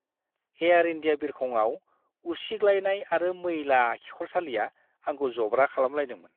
Air India बिरखंआव उसिग्लायनाय आरो मैला खिखरसालिया आंखौ जब्रा खालामलायदोंमोन!